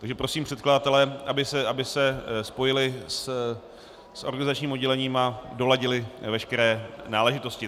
Takže prosím předkladatele, aby se spojili s organizačním oddělením a doladili veškeré náležitosti.